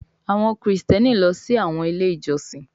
Àwọn Kristiani ló sì àwọn ilé ìjósìn.